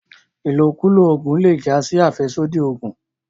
ilokulo oògùn le já sí afẹsodi ògùn.